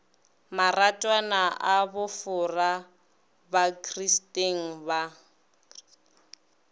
maratwana a bofora bakristeng ba